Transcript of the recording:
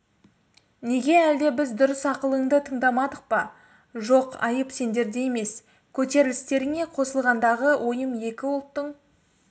неге әлде біз дұрыс ақылыңды тыңдамадық па жоқ айып сендерде емес көтерілістеріңе қосылғандағы ойым екі ұлттың